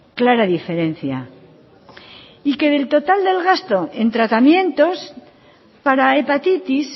clara diferencia y que del total de gasto en tratamientos para hepatitis